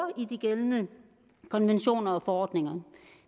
i de gældende konventioner og forordninger